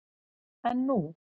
En nú?